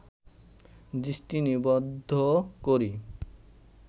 দৃষ্টি নিবদ্ধ করি